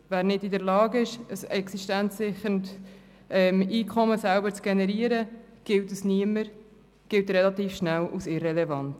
Wer nicht in der Lage ist, selber ein existenzsicherndes Einkommen zu generieren, gilt als niemand, gilt relativ schnell als irrelevant.